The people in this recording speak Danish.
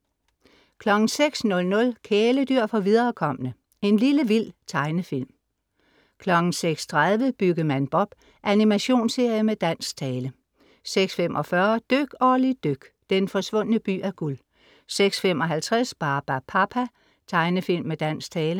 06:00 Kæledyr for viderekomne. En lille vild tegnefilm om, 06:30 Byggemand Bob. Animationsserie med dansk tale 06:45 Dyk Olli dyk. Den forsvundne by af guld 06:55 Barbapapa. Tegnefilm med dansk tale